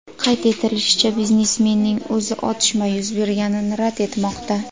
Qayd etishlaricha, biznesmenning o‘zi otishma yuz berganini rad etmoqda.